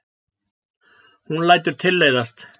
Hún lætur tilleiðast.